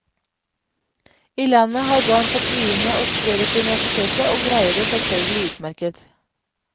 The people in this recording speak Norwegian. I landet har barn fått begynne å studere på universitetet og greier det selvfølgelig utmerket.